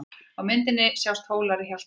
Á myndinni sjást Hólar í Hjaltadal.